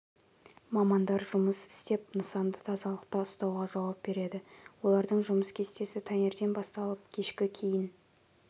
мамандар жұмыс істеп нысанды тазалықта ұстауға жауап береді олардың жұмыс кестесі таңертең басталып кешкі кейін